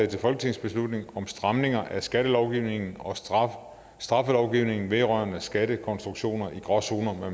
til folketingsbeslutning om stramninger at skattelovgivningen og straffelovgivningen vedrørende skattekonstruktioner i gråzoner